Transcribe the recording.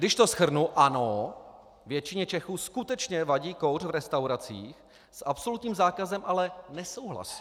Když to shrnu, ano, většině Čechů skutečně vadí kouř v restauracích, s absolutním zákazem ale nesouhlasí.